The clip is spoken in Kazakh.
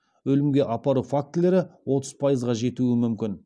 өлімге апару фактілері отыз пайызға жетуі мүмкін